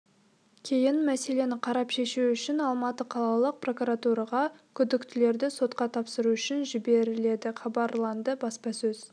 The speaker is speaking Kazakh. кейін мәселені қарап шешу үшін алматы қалалық прокуратураға күдіктілерді сотқа тапсыру үшін жіберіледі хабарланды баспасөз